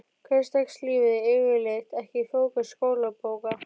Hversdagslífið yfirleitt ekki í fókus skólabóka.